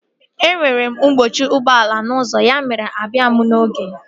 E nwere mkpọchi ụgbọala n'ụzọ ya mere na mụ abịaghị n'oge